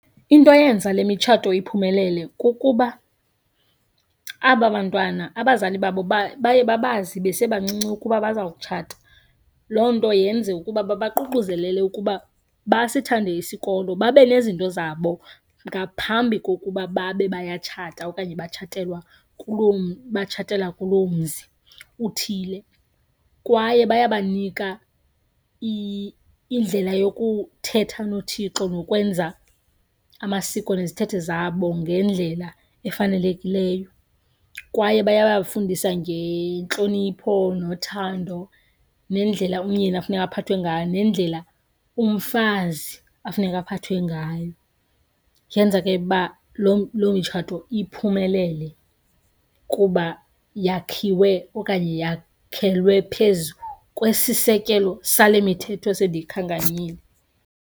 Into eyenza le mitshato iphumelele kukuba aba bantwana, abazali babo baye babazi besebancinci ukuba baza kutshata. Loo nto yenze ukuba babaququzelele ukuba basithande isikolo babe nezinto zabo ngaphambi kokuba babe bayatshata okanye batshatelwa kuloo, batshatela kuloo mzi uthile. Kwaye bayabanika indlela yokuthetha noThixo nokwenza amasiko nezithethe zabo ngendlela efanelekileyo. Kwaye bayabafundisa ngentlonipho nothando nendlela umyeni afuneka aphathwe ngayo, nendlela umfazi afuneka aphathwe ngayo. Yenza ke uba loo mitshato iphumelele kuba yakhiwe okanye yakhelwe phezu kwesisekelo sale mithetho sendiyikhankanyile.